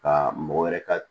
Ka mɔgɔ wɛrɛ ka